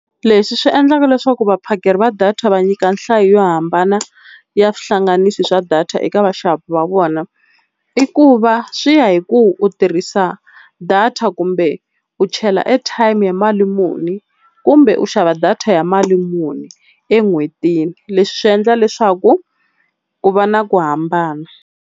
Leswi swi endlaka leswaku vaphakeri va data va nyika nhlayo yo hambana ya swihlanganisi swa data eka vaxavi va vona, i ku va swi ya hi ku u tirhisa data kumbe u chela airtime ya mali muni, kumbe u xava data ya mali muni en'hwetini. Leswi swi endla leswaku ku va na ku hambana.